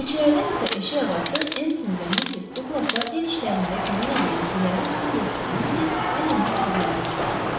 Xidmətçilərdən isə eşik ağası Emsin və Missis Duqlasa ev işlərində kömək eləyən güləris qulluqçu Missis Allenin adlarını çəkmək olar.